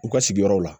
U ka sigiyɔrɔw la